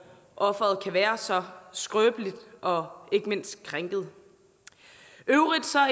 offeret kan være så skrøbeligt og ikke mindst krænket i øvrigt